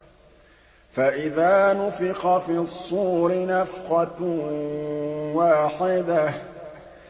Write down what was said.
فَإِذَا نُفِخَ فِي الصُّورِ نَفْخَةٌ وَاحِدَةٌ